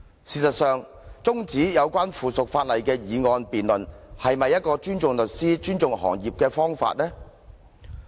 事實上，中止有關附屬法例的議案辯論，是否尊重律師和律師行業的做法？